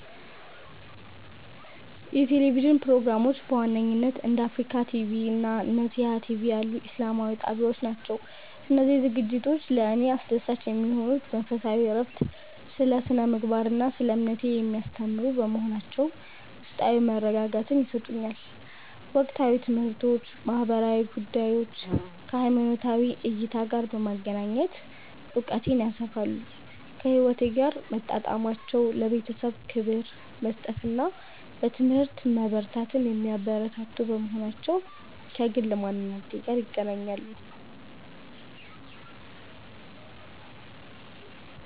የቴሌቪዥን ፕሮግራሞች በዋነኝነት እንደ አፍሪካ ቲቪ (Africa TV) እና ነሲሃ ቲቪ (Nesiha TV) ያሉ ኢስላማዊ ጣቢያዎች ናቸው. እነዚህ ዝግጅቶች ለእኔ አስደሳች የሚሆኑት መንፈሳዊ እረፍት፦ ስለ ስነ-ምግባር እና ስለ እምነቴ የሚያስተምሩ በመሆናቸው ውስጣዊ መረጋጋትን ይሰጡኛል። ወቅታዊ ትምህርቶች፦ ማህበራዊ ጉዳዮችን ከሃይማኖታዊ እይታ ጋር በማገናኘት እውቀቴን ያሰፋሉ. ከህይወቴ ጋር መጣጣማቸው፦ ለቤተሰብ ክብር መስጠትን እና በትምህርት መበርታትን የሚያበረታቱ በመሆናቸው ከግል ማንነቴ ጋር ይገናኛሉ.